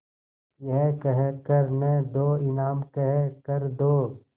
यह कह कर न दो इनाम कह कर दो